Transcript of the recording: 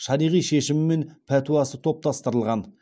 шариғи шешімі мен пәтуасы топтастырылған